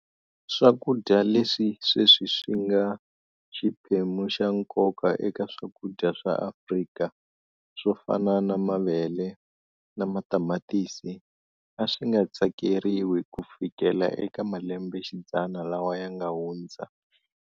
Swakudya leswi sweswi swinga xiphemu xa nkoka eka swakudya swa Afrika swofana na mavele na matamatisi aswinga tsakeriwi kufikela eka malembe xidzana lawa yanga hundza19.